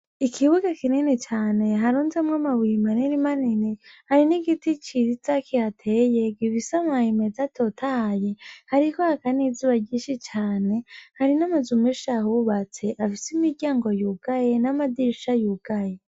Ikibuga kinini cane harunzemwo amabuye maninimanini. Hari n'igiti ciza kihateye gifise amababi meza atotahaye, hariko haka n'izuba ryinshi cane, hari n'amazu menshi ahubatse afise imiryango yugaye n'amadirisha yugaye.